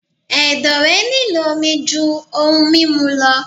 Ẹ̀dọ̀ rẹ̀ nílò omi jú ohun mímu lọ.